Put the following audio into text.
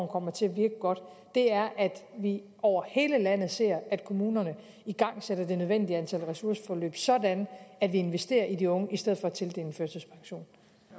kommer til at virke godt er at vi over hele landet ser at kommunerne igangsætter det nødvendige antal ressourceforløb sådan at vi investerer i de unge i stedet